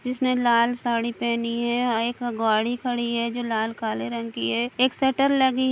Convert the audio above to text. जिसने लाल साड़ी पहनी है एक गाड़ी खड़ी है जो लाल काले रंग की है एक शटर लगी --